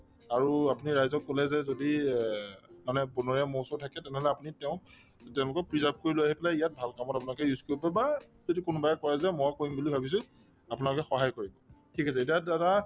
আৰু আপুনি ৰাইজক কলে যদি এহ্ মানে বনৰীয়া মৌ চৌ থাকে তেনেহলে আপুনি তেওঁক তে তেওঁলোকক preserve কৰি লৈ আহি পেলাই ইয়াত ভাল কামত আপোনালোকে use কৰিব পাৰিব বা যদি কোনোবাই কই যে মই কৰিম বুলি ভাবিছো আপোনালোকে সহায় কৰিব ঠিক আছে তেতিয়াহলে দাদা